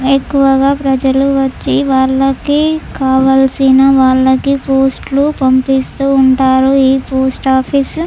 ఎక్కువగా ప్రజలు వచ్చి వాళ్లకి కావలసిన వాళ్లకి పోస్ట్లు పంపిస్తూ ఉంటారు ఈ పోస్ట్ ఆఫీస్ --